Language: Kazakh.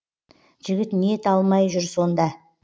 жігіт не ете алмай жүр сонда